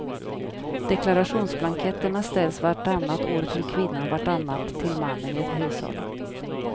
Deklarationsblanketterna ställs vartannat år till kvinnan, vartannat till mannen i ett hushåll.